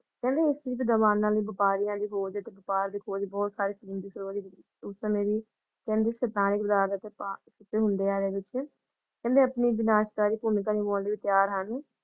ਕਹਿੰਦੇ ਇਸ ਚੀਜ਼ ਦਾ ਬਹਾਨਾ ਨੀ ਵ੍ਯਾਪਾਰੀਆਂ ਦੇ ਹੋਣ ਦਿ ਵ੍ਯਾਪੱਰ ਦਿ ਖੋਜ ਬਹੁਤ ਸਾਰੇ ਉਸ ਸਮਾਏ ਦਿ ਕਹਿੰਦੇ ਹੁੰਦੇ ਹਾਂ ਕਹਿੰਦੇ ਆਪਣੀ ਵਿਨਾਸ਼ਕਾਰੀ ਭੂਮਿਕਾ ਨਿਭਾਉਣ ਤੈਯਾਰ ਹਾਂ ।